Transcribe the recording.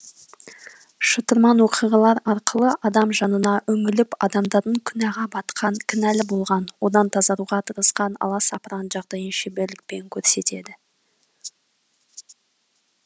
шытырман оқиғалар арқылы адам жанына үңіліп адамдардың күнәға батқан кінәлі болған одан тазаруға тырысқан аласапыран жағдайын шеберлікпен көрсетеді